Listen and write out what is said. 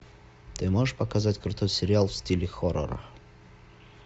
ты можешь показать крутой сериал в стиле хоррор